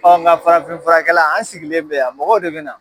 Ɔ nga farafin furakɛla an sigilen bɛ yan mɔgɔw de be na